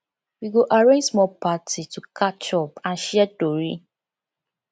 we go arrange small party to catch up and share tori